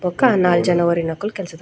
ಬೊಕ ನಾಲ್ ಜನ ಒರಿನಕುಲು ಕೆಲ್ಸದಕ್ಲ್--